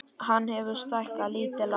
Hann hefur stækkað lítið land